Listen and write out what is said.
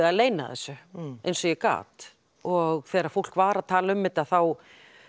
að leyna þessu og þegar fólk var að tala um þetta þá